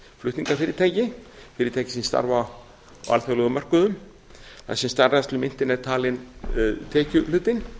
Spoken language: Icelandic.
flutningafyrirtæki fyrirtæki sem starfa á alþjóðlegum mörkuðum þar sem starfrækslumyntin er talin tekjuhlutinn